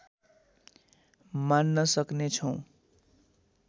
मान्न सक्ने छौँ